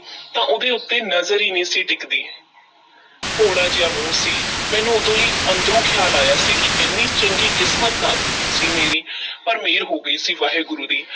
ਤਾਂ ਉਹਦੇ ਉੱਤੇ ਨਜ਼ਰ ਈ ਨਹੀਂ ਸੀ ਟਿਕਦੀ ਭੋਲਾ ਜਿਹਾ ਮੂੰਹ ਸੀ, ਮੈਨੂੰ ਉਦੋਂ ਈ ਅੰਦਰੋਂ ਖ਼ਿਆਲ ਆਇਆ ਸੀ ਕਿ ਐਨੀ ਚੰਗੀ ਕਿਸਮਤ ਨਾ ਸੀ ਮੇਰੀ ਪਰ ਮਿਹਰ ਹੋ ਗਈ ਸੀ, ਵਾਹਿਗੁਰੂ ਦੀ,